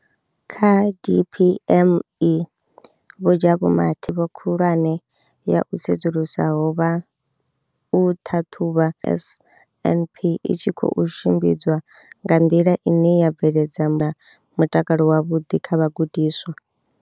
Kha DPME, Vho Jabu Mathe, vho ndivho khulwane ya u sedzulusa vha u ṱhaṱhuvha NSNP i tshi khou tshimbidzwa nga nḓila ine ya bveledzana na mutakalo wavhuḓi kha vhagudiswa.